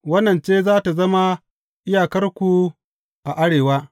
Wannan ce za tă zama iyakarku a arewa.